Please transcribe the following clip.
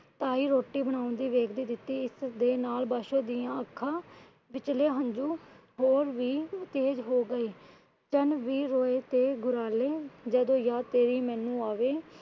ਪਾਈ ਰੋਟੀ ਦਿੱਤੀ। ਇਸ ਦੇ ਨਾਲ ਪਾਸ਼ੋ ਦੀਆਂ ਅੱਖਾਂ ਵਿਚਲੇ ਹੰਝੂ ਹੋਰ ਵੀ ਤੇਜ ਹੋ ਗਏ। ਜਦੋ ਯਾਦ ਮੈਨੂੰ ਆਵੇ